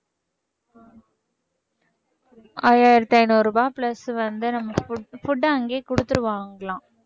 ஐயாயிரத்தி ஐநூறு ரூபாய் plus வந்து நம்ம foo~ food அங்கேயே குடுத்துடுவாங்கலாம்